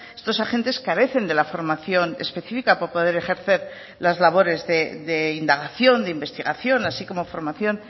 estos agentes carecen de la formación específica para poder ejercer las labores de indagación de investigación así como formación